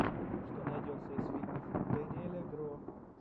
что найдется из фильмов дэниеля гро